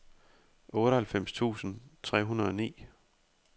otteoghalvfems tusind tre hundrede og ni